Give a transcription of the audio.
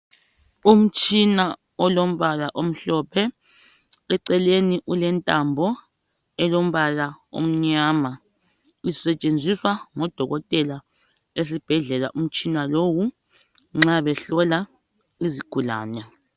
Umtshina olombala omhlophe eceleni ulentambo elombala omnyama. Isetshenziswa ngodokotela esibhedlela umtshina lowu nxa behlola izigulane.